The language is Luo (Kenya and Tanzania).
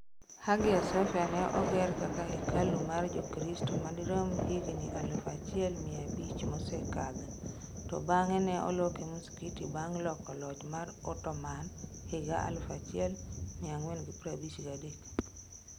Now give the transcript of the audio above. Hagia Sophia ne oger kaka hekalu mar jokrosto madirom higni aluf achiel mia abich mosekadho to bange ne oloke msikiti bang loko loch mar Ottoman higa 1453